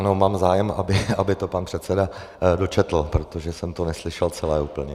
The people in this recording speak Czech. Ano, mám zájem, aby to pan předseda dočetl, protože jsem to neslyšel celé úplně.